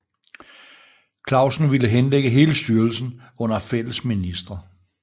Clausen ville henlægge hele styrelsen under fælles ministre